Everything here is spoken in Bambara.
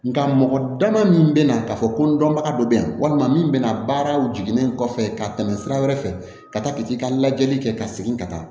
Nga mɔgɔ dama min bɛna ka fɔ ko n dɔnbaga dɔ bɛ yan walima min bɛna baaraw jiginnen kɔfɛ ka tɛmɛ sira wɛrɛ fɛ ka taa ka t'i ka lajɛli kɛ ka segin ka taa